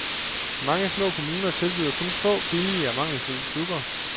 Mange små kommuner tilbyder kun få, billige og mangelfulde klubber.